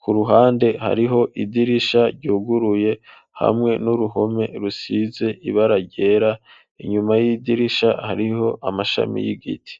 ku ruhande hariho idirisha ryuguruye hamwe n'uruhome rusize ibara ryera inyuma y'idirisha hariho amashami y'igiti.